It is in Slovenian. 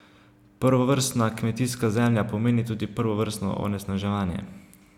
Prvovrstna kmetijska zemlja pomeni tudi prvovrstno onesnaževanje.